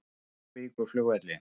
Keflavíkurflugvelli